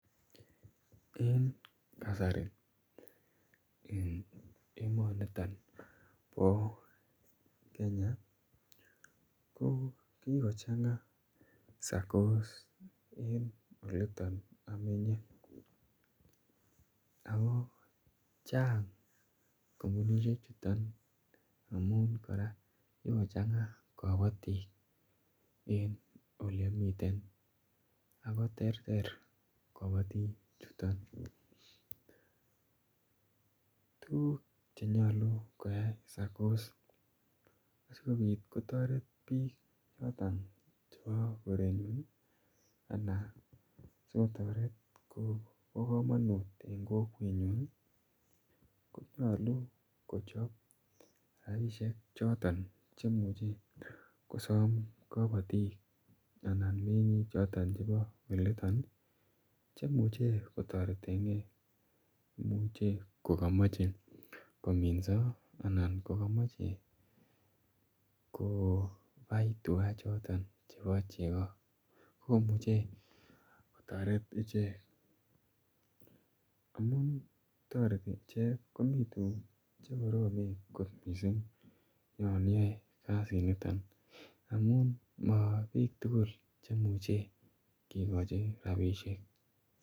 En kasari en emaniton po Kenya ko kikochang'a SACCOs en olitan amenye. Ako chang' kompunishechuton amun kora kikochang'a kapatik en ole amiten ako terter kapatik chuton. Tuguuk che nyalu koyai SACCOs aikopit kotaret piik choton chepo korenyun i anan choton kora ko pa kamanut en kokwenyun i, konyalu kochap rapisiek choton che imuchi kosam kapatik anan meng'iik choton chepo olitan i che muchen kotareten gei. Imuchi ko kamache kominsa anan ko kamache kopai tuga choton cheoa cheko komuchr kotareten ichek. Amun tareti ichek komoten tugun che koromen yan iyae kasiniton amun ma piil tugul che imuchi kikachi rapisiek.